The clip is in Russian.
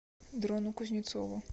дрону кузнецову